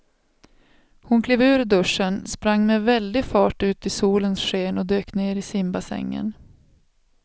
Hon klev ur duschen, sprang med väldig fart ut i solens sken och dök ner i simbassängen.